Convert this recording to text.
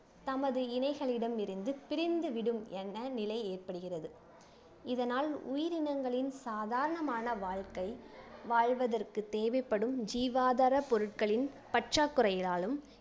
தமது இணைகளிடமிருந்து பிரிந்துவிடும் என்ற நிலை ஏற்படுகிறது இதனால் உயிரினங்களின் சாதாரணமான வாழ்க்கை வாழ்வதற்கு தேவைப்படும் ஜீவாதார பொருட்களின் பற்றாக்குறையினாலும்